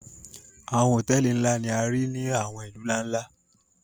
àwọn hotẹẹli nla ni a rii ni àwọn ilu nla-nla.